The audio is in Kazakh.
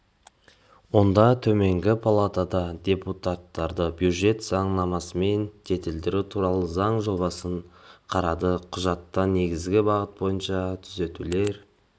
онда төменгі палата депутаттары бюджет заңнамасын жетілдіру туралы заң жобасын қарады құжатта негізгі бағыт бойынша түзетулер